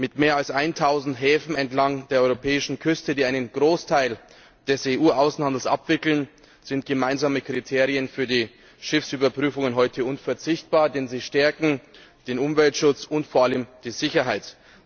Mit mehr als 1000 Häfen entlang der europäischen Küste, die einen Großteil des EU Außenhandels abwickeln, sind gemeinsame Kriterien für die Schiffsüberprüfungen heute unverzichtbar, denn sie stärken den Umweltschutz und vor allem die Sicherheit.